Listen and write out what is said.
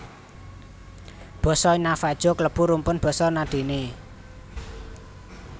Basa Navajo klebu rumpun basa Na Dene